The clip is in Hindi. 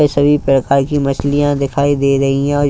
सभी प्रकार की मछलियां दिखाई दे रही हैं।